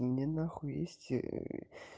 мне нахуй есть